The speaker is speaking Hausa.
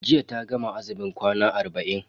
Jiya ta gama azumin kwana arba'in.